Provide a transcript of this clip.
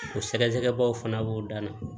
O sɛgɛsɛgɛbaaw fana b'o dan na